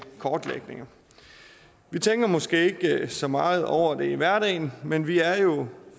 kortlægninger vi tænker måske ikke så meget over det i hverdagen men vi er jo